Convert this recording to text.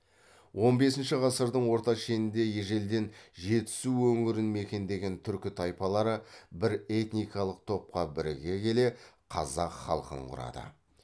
он бесінші ғасырдың орта шенінде ежелден жетісу өңірін мекендеген түркі тайпалары бір этникалық топқа біріге келе қазақ халқын құрады